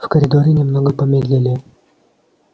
в коридоре немного помедлили